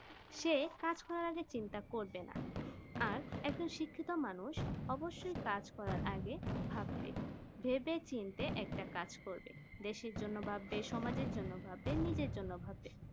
সেই কাজ করা আগে চিন্তা করবে না আর একজন শিক্ষিত মানুষ অবশ্য মানুষ কাজ করা আগে ভাববে ভেবে চিনতে একটা কাজ করবে দেশের জন্য ভাববে সমাজের জন্য ভাববে নিজের জন্য ভাববে